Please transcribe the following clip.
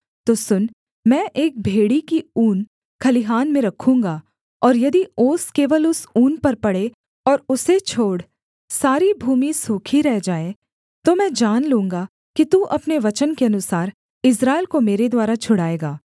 तो सुन मैं एक भेड़ी की ऊन खलिहान में रखूँगा और यदि ओस केवल उस ऊन पर पड़े और उसे छोड़ सारी भूमि सूखी रह जाए तो मैं जान लूँगा कि तू अपने वचन के अनुसार इस्राएल को मेरे द्वारा छुड़ाएगा